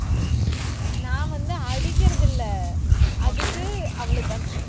நான் வந்து அடிக்கிறதில்லை. அதுக்கு, அவளுக்கு